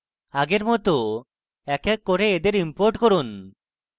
আগের মত এক এক করে এদের import করুন